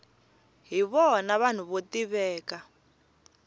hi vona vanhu vo tiveka